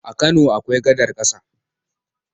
A Kano akwai gadar ƙasa.